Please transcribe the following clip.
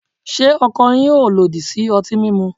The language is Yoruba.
Se ọkọ yin o lodi si ọti mimu?